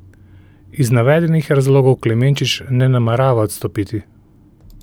Iz navedenih razlogov Klemenčič ne namerava odstopiti.